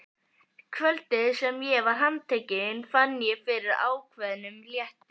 Kvöldið sem ég var handtekinn fann ég fyrir ákveðnum létti.